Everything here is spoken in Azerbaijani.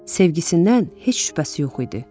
Sevgisindən heç şübhəsi yox idi.